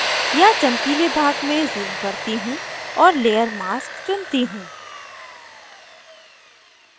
यहाँ चमकीले भाग में zoom करती हूँ और layer mask चुनती हूँ